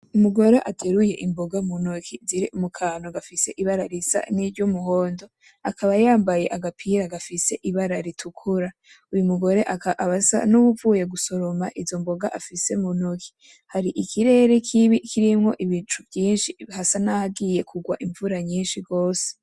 Umugore ateruye imboga mu ntoke ziri mukantu gafise ibara risa niry' umuhondo, akaba yambaye agapira gafis ibara ritukura, uwo mugore akaba asa nuwuvuye gusoroma izomboga afise muntoki, har' ikirere kibi kirimwo ibicu vyinshi hasa nahagiye kurwa imvura nyinshi gose.